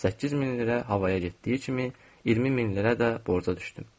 8000 lirə havaya getdiyi kimi, 20000 lirə də borca düşdüm.